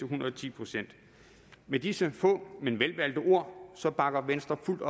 hundrede og ti procent med disse få men velvalgte ord bakker venstre fuldt